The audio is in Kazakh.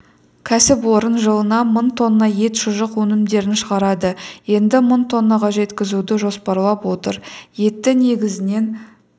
кәсіпорын жылына мың тонна ет шұжық өнімдерін шығарады енді мың тоннаға жеткізуді жоспарлап отыр етті негізінен